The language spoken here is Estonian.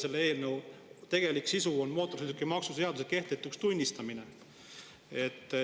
Selle eelnõu sisu on mootorsõidukimaksu seaduse kehtetuks tunnistamine.